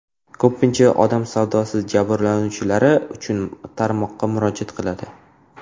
Ko‘pincha odam savdosi jabrlanuvchilari mazkur tarmoqqa murojaat qiladi.